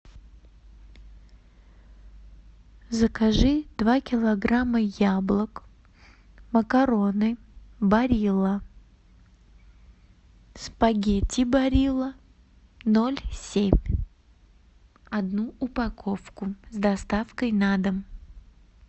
закажи два килограмма яблок макароны барилла спагетти барилла ноль семь одну упаковку с доставкой на дом